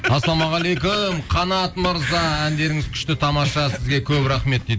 ассалаумағалейкум қанат мырза әндеріңіз күшті тамаша сізге көп рахмет